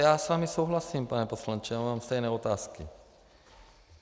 Já s vámi souhlasím, pane poslanče, já mám stejné otázky.